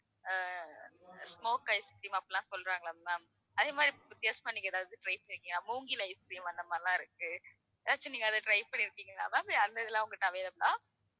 smoke ice cream அப்படிலாம் சொல்றாங்கல்ல ma'am அதே மாதிரி வித்தியாசமா நீங்க ஏதாவது try செஞ்சீங்களா மூங்கில் ice cream அந்த மாதிரிலாம் இருக்கு. ஏதாச்சும் நீங்க அத try பண்ணிருக்கீங்களா ma'am அது மாதிரிலாம் உங்ககிட்ட available ஆ